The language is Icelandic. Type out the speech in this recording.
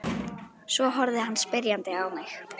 Svo horfði hann spyrjandi á mig.